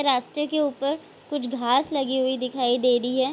रास्ते के ऊपर कुछ घास लगी हुई दिखाई दे रही है।